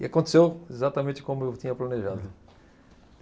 E aconteceu exatamente como eu tinha planejado.